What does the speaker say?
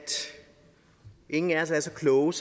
ingen af os er så kloge